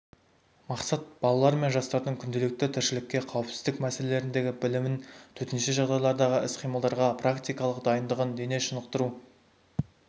мақсат балалар мен жастардың күнделікті тіршілікте қауіпсіздік мәселелеріндегі білімін төтенше жағдайлардағы іс-қимылдарға практикалық дайындығын дене шынықтыру